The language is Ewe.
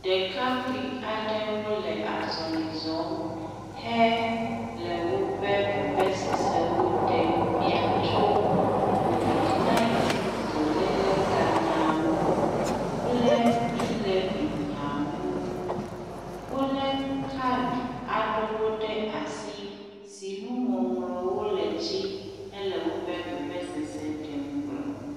Ɖekakpui aɖewo le azɔli zɔm he le woƒe veveseseɖo ɖem fia tso kovid ɛɣ dɔléle ganyawo ŋu kple eɔ̃levi nyawo ŋu. Wo le kaɖi aɖewo ɖe asi si nuŋɔŋlɔwo le edzi hele woƒe vevesese ɖem gblɔ.